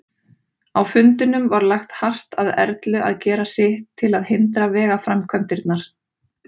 Á fundinum var lagt hart að Erlu að gera sitt til að hindra vegaframkvæmdirnar.